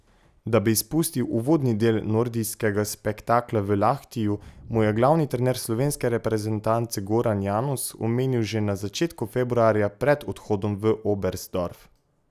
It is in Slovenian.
Da bi izpustil uvodni del nordijskega spektakla v Lahtiju, mu je glavni trener slovenske reprezentance Goran Janus omenil že na začetku februarja pred odhodom v Oberstdorf.